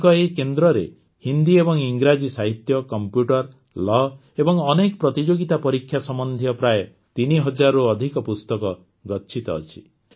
ତାଙ୍କ ଏହି କେନ୍ଦ୍ରରେ ହିନ୍ଦୀ ଏବଂ ଇଂରାଜୀ ସାହିତ୍ୟ କମ୍ପ୍ୟୁଟର ଲାୱ୍ ଏବଂ ଅନେକ ପ୍ରତିଯୋଗିତା ପରୀକ୍ଷା ସମ୍ବନ୍ଧୀୟ ପ୍ରାୟ ତିନିହଜାରରୁ ଅଧିକ ପୁସ୍ତକ ଗଚ୍ଛିତ ଅଛି